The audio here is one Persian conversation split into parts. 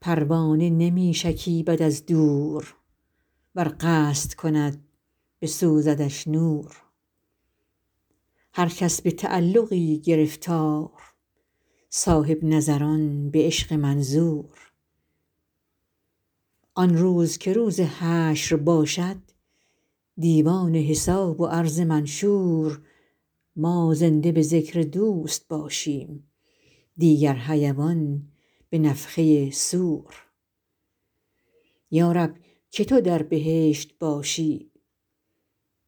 پروانه نمی شکیبد از دور ور قصد کند بسوزدش نور هر کس به تعلقی گرفتار صاحب نظران به عشق منظور آن روز که روز حشر باشد دیوان حساب و عرض منشور ما زنده به ذکر دوست باشیم دیگر حیوان به نفخه صور یا رب که تو در بهشت باشی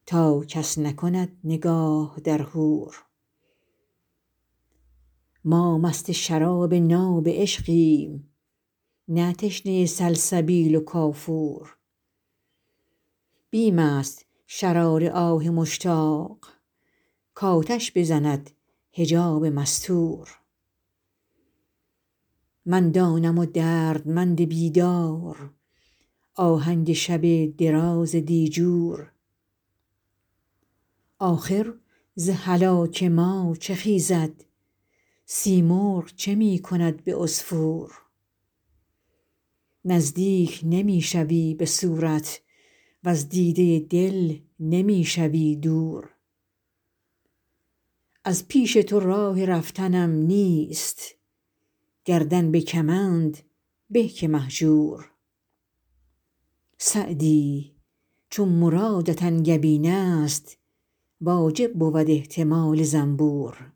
تا کس نکند نگاه در حور ما مست شراب ناب عشقیم نه تشنه سلسبیل و کافور بیم است شرار آه مشتاق کآتش بزند حجاب مستور من دانم و دردمند بیدار آهنگ شب دراز دیجور آخر ز هلاک ما چه خیزد سیمرغ چه می کند به عصفور نزدیک نمی شوی به صورت وز دیده دل نمی شوی دور از پیش تو راه رفتنم نیست گردن به کمند به که مهجور سعدی چو مرادت انگبین است واجب بود احتمال زنبور